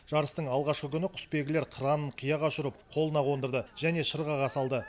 жарыстың алғашқы күні құсбегілер қыранын қияға ұшырып қолына қондырды және шырғаға салды